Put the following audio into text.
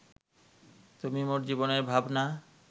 তুমি মোর জীবনের ভাবনা